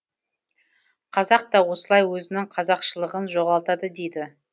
қазақ та осылай өзінің қазақшылығын жоғалтады дейді